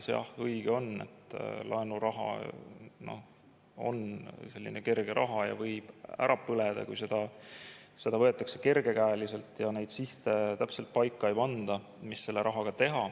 Jah, õige on, et laenuraha on selline kerge raha ja see võib ära põleda, kui seda võetakse kergekäeliselt ja neid sihte täpselt paika ei panda, mis selle rahaga teha.